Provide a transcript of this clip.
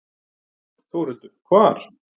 Þórhildur: Hvar?